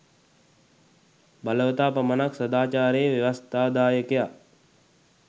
බලවතා පමණක් සාදාචාරයේ ව්‍යවස්ථාදායකයා